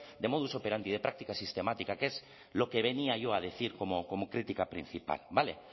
de modus operandi de práctica sistemática que es lo que venía yo a decir como crítica principal vale